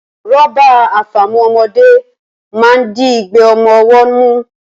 Rọ́bà àfàmu ọmọdé máa ń di igbe ọmọ ọwọ́ mú